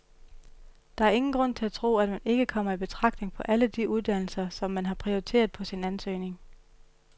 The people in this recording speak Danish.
Der er ingen grund til at tro, at man ikke kommer i betragtning på alle de uddannelser, som man har prioriteret på sin ansøgning.